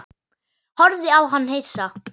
Horfði á hana hissa.